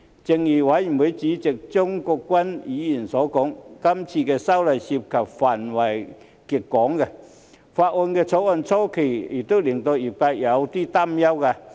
正如法案委員會主席張國鈞議員所說，這次修例涉及的範圍極廣，《條例草案》草擬初期亦令業界有所擔憂。